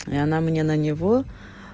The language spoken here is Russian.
и она мне на него